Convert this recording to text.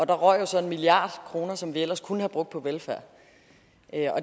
der røg jo så en milliard kroner som vi ellers kunne have brugt på velfærd